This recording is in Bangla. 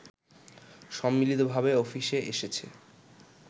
সম্মিলিতভাবে অফিসে এসেছে